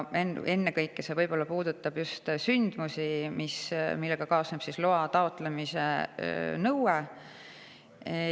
Ennekõike see puudutab just sündmusi, millega kaasneb loa taotlemise nõue.